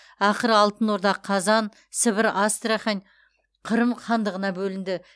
ақыры алтын орда қазан сібір астрахань қырым хандығына бөлінді